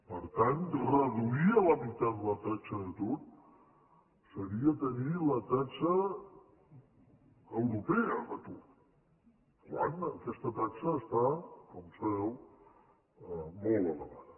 per tant reduir a la meitat la taxa d’atur seria tenir la taxa europea d’atur quan aquesta taxa està com sabeu molt elevada